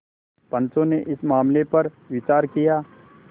पंचो ने इस मामले पर विचार किया